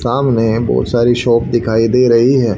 सामने बहोत सारी शॉप दिखाई दे रही है।